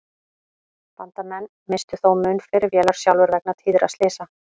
Bandamenn misstu þó mun fleiri vélar sjálfir vegna tíðra slysa.